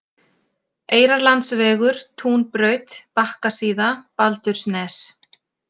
Eyrarlandsvegur, Túnbraut, Bakkasíða, Baldursnes